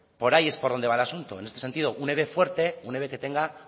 por ahí es por donde va el asunto en este sentido un eve fuerte un eve que tenga